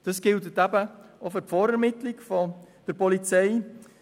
Dies gilt auch für die Vorermittlung der Polizei.